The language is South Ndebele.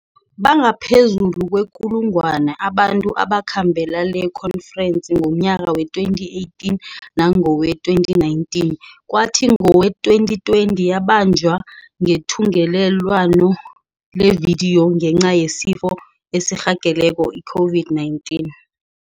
Bangaphezulu kwekulungwana abantu abakhambela lekhonferensi ngomnyaka wee-2018 nangowee-2019, kwathi ngowee-2020 yabanjwa ngethungelelwano levidiyo, ngenca yesifo esirhageleko i-COVID-19.